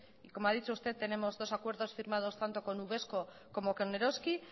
y como ha dicho usted tenemos dos acuerdos firmados tanto con uvesco como con eroski